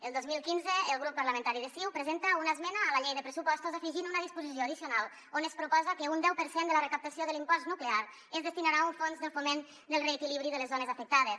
el dos mil quinze el grup parlamentari de ciu presenta una esmena a la llei de pressupostos afegint una disposició addicional on es proposa que un deu per cent de la recaptació de l’impost nuclear es destinarà a un fons del foment del reequilibri de les zones afectades